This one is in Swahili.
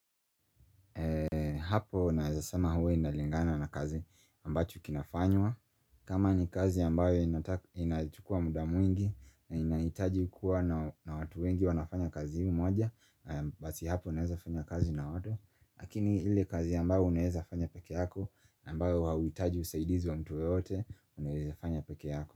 Hapo naezasama huwe inalingana na kazi ambacho kinafanywa kama ni kazi ambayo inatukua muda mwingi na inaitaji kuwa na watu wengi wanafanya kazi humoja Basi hapo naezafanya kazi na oto Akini ili kazi ambayo uneezafanya peke yako ambayo wawitaji usaidizu wa mtuwe ote uneezafanya peke yako.